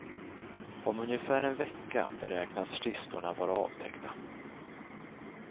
Om ungefär en vecka beräknas kistorna vara avtäckta.